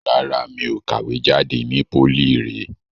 Rárá, mi ò kàwé jade ni pólì ìré.